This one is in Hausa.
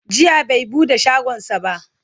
jiya bai buɗe shagonsa ba